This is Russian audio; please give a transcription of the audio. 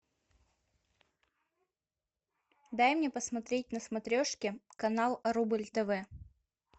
дай мне посмотреть на смотрешке канал рубль тв